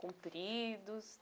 Compridos?